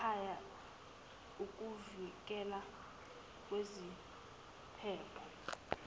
ngekhaya ikuvikela kwiziphepho